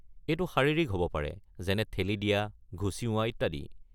এইটো শাৰীৰিক হ'ব পাৰে যেনে ঠেলি দিয়া, ঘুচিওৱা ইত্যাদি।